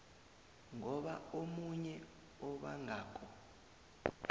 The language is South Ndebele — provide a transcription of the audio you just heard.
ngoba omunye obangako